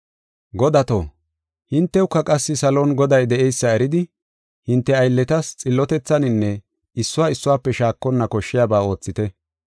Godato, hintewuka qassi salon Goday de7eysa eridi, hinte aylletas xillotethaninne issuwa issuwafe shaakonna koshshiyaba oothite.